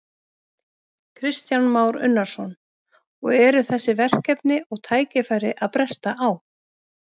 Kristján Már Unnarsson: Og eru þessi verkefni og tækifæri að bresta á?